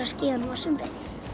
skíðum á sumrin